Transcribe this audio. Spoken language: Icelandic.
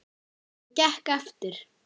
Það gekk eftir.